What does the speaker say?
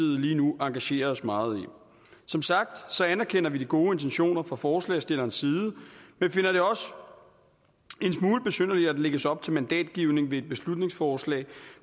lige nu engagerer os meget i som sagt anerkender vi de gode intentioner fra forslagsstillernes side men finder det også en smule besynderligt at der lægges op til mandatgivning ved et beslutningsforslag